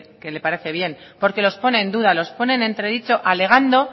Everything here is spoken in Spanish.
que le parece bien porque los pone en duda los pone en entredicho alegando